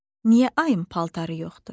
Niyə ayın paltarı yoxdur?